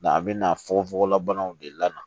a bɛ na fogofogo la banaw de la